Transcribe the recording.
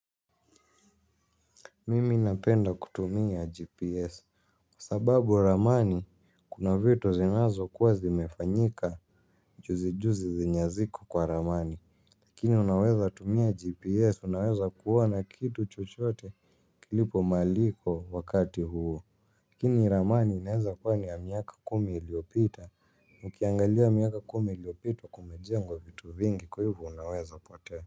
Mimi napenda kutumia GPS kwasababu ramani kuna vitu zinazo kuwa zimefanyika juzi juzi zenye haziko kwa ramani lakini unaweza tumia GPS unaweza kuona kitu chochote kilipo mahaliko wakati huo. Lakini ramani inaweza kuwa ni ya miaka kumi iliyopita ukiangalia miaka kumi iliopita kumejengwa vitu vingi kwahiyo vinaweza potea.